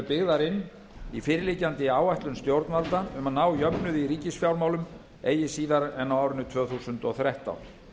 eru inn í fyrirliggjandi áætlun stjórnvalda um að ná jöfnuði í ríkisfjármálum eigi síðar en á árinu tvö þúsund og þrettán